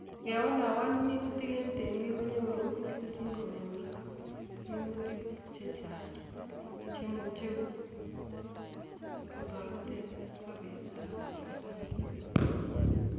Igewalawa minutik en temik konyoru keljin en minutik che chang' che imuche kotoret en sobet ab kipkosobe